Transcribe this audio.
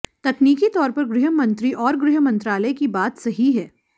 तकनीकी तौर पर गृह मंत्री और गृह मंत्रालय की बात सही है